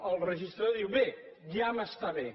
el registrador diu bé ja m’està bé